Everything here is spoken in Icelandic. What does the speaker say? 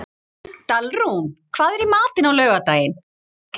Dalrún, hvað er í matinn á laugardaginn?